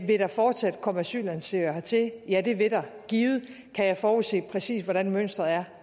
vil der fortsat komme asylansøgere hertil ja det vil der givet kan jeg forudse præcis hvordan mønsteret